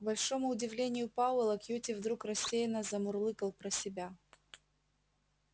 к большому удивлению пауэлла кьюти вдруг рассеянно замурлыкал про себя